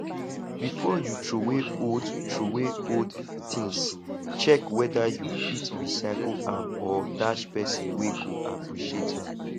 before you throway old throway old things check whether you fit recycle am or dash persin wey go appreciate am